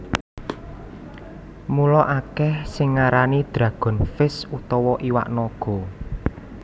Mula akeh sing ngarani dragon fish utawa iwak naga